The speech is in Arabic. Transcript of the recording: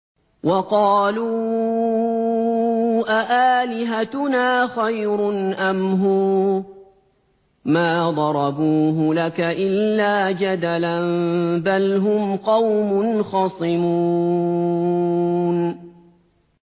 وَقَالُوا أَآلِهَتُنَا خَيْرٌ أَمْ هُوَ ۚ مَا ضَرَبُوهُ لَكَ إِلَّا جَدَلًا ۚ بَلْ هُمْ قَوْمٌ خَصِمُونَ